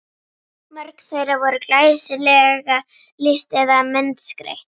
Mörg þeirra voru glæsilega lýst eða myndskreytt.